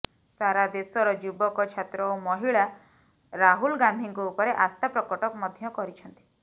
ସାରା ଦେଶର ଯୁବକ ଛାତ୍ର ଓ ମହିଳା ରାହୁଲ ଗାନ୍ଧିଙ୍କ ଉପରେ ଆସ୍ଥା ପ୍ରକଟ ମଧ୍ୟ କରିଛନ୍ତି